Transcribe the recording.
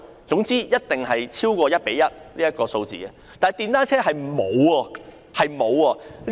總之，一定超過 1：1 這個比例，但電單車卻不然。